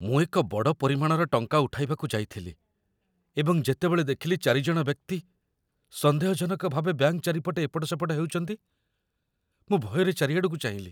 ମୁଁ ଏକ ବଡ଼ ପରିମାଣର ଟଙ୍କା ଉଠାଇବାକୁ ଯାଇଥିଲି ଏବଂ ଯେତେବେଳେ ଦେଖିଲି ୪ ଜଣ ବ୍ୟକ୍ତି ସନ୍ଦେହଜନକ ଭାବେ ବ୍ୟାଙ୍କ ଚାରିପଟେ ଏପଟ ସେପଟ ହେଉଚନ୍ତି, ମୁଁ ଭୟରେ ଚାରିଆଡ଼କୁ ଚାହିଁଲି ।